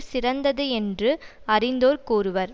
சிறந்தது என்று அறிந்தோர் கூறுவர்